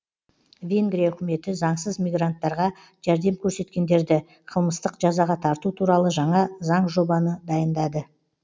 венгрия үкіметі заңсыз мигранттарға жәрдем көрсеткендерді қылмыстық жазаға тарту туралы жаңа заң жобаны дайындады